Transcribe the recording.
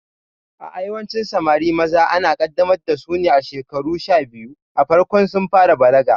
A'a, yawancin Samari maza ana kaddamar dasu ne a shekaru sha biyu a farkon sun fara balaga